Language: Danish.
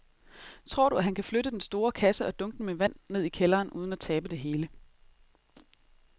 Tror du, at han kan flytte den store kasse og dunkene med vand ned i kælderen uden at tabe det hele?